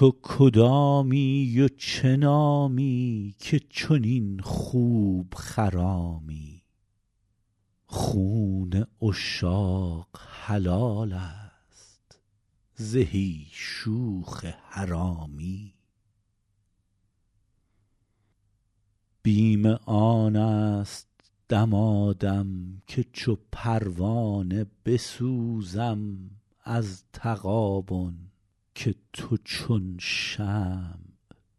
تو کدامی و چه نامی که چنین خوب خرامی خون عشاق حلال است زهی شوخ حرامی بیم آن است دمادم که چو پروانه بسوزم از تغابن که تو چون شمع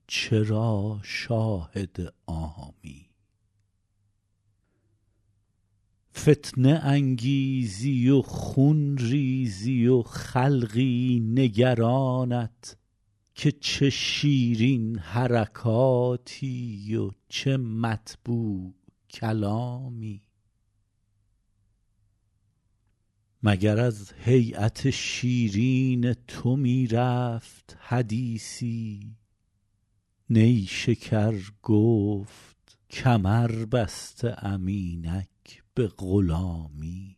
چرا شاهد عامی فتنه انگیزی و خون ریزی و خلقی نگرانت که چه شیرین حرکاتی و چه مطبوع کلامی مگر از هییت شیرین تو می رفت حدیثی نیشکر گفت کمر بسته ام اینک به غلامی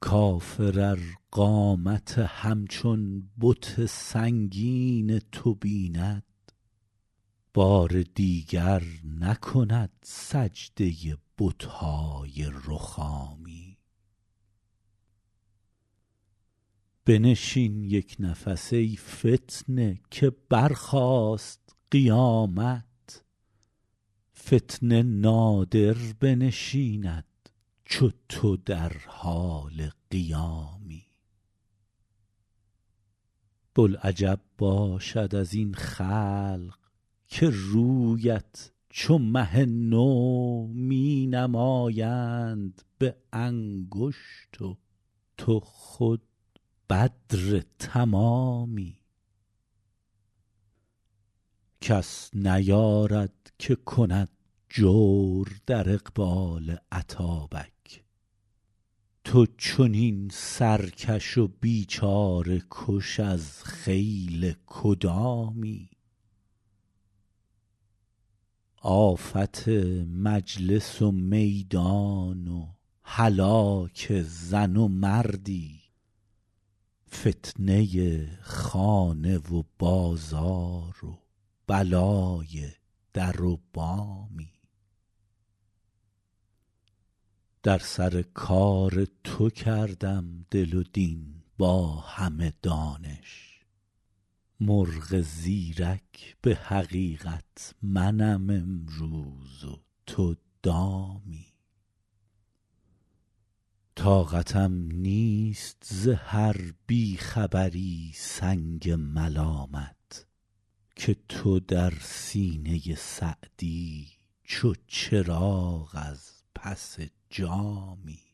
کافر ار قامت همچون بت سنگین تو بیند بار دیگر نکند سجده بت های رخامی بنشین یک نفس ای فتنه که برخاست قیامت فتنه نادر بنشیند چو تو در حال قیامی بلعجب باشد از این خلق که رویت چو مه نو می نمایند به انگشت و تو خود بدر تمامی کس نیارد که کند جور در اقبال اتابک تو چنین سرکش و بیچاره کش از خیل کدامی آفت مجلس و میدان و هلاک زن و مردی فتنه خانه و بازار و بلای در و بامی در سر کار تو کردم دل و دین با همه دانش مرغ زیرک به حقیقت منم امروز و تو دامی طاقتم نیست ز هر بی خبری سنگ ملامت که تو در سینه سعدی چو چراغ از پس جامی